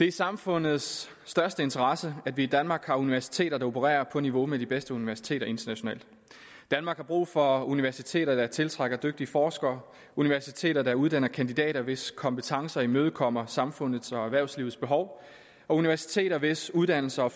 i samfundets største interesse at vi i danmark har universiteter der opererer på niveau med de bedste universiteter internationalt danmark har brug for universiteter der tiltrækker dygtige forskere universiteter der uddanner kandidater hvis kompetencer imødekommer samfundets og erhvervslivets behov og universiteter hvis uddannelser